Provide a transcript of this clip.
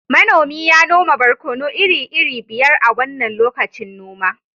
manomi ya noma barkono iri-iri biyar a wannan lokacin noma